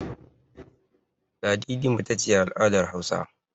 Ladidi mace ce a al'adar Hausawa.